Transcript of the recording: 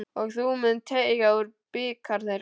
Og þú munt teyga úr bikar þeirra.